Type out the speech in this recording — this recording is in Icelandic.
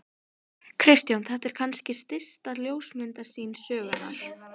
Kristján: Þetta er kannski stysta ljósmyndasýning sögunnar?